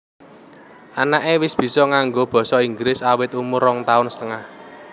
Anaké wis bisa nganggo basa inggris awit umur rong taun setengah